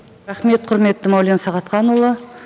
рахмет құрметті мәулен сағатханұлы